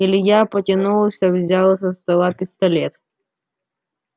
илья потянулся взял со стола пистолет